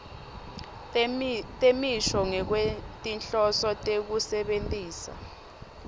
temisho ngekwetinhloso tekusebentisa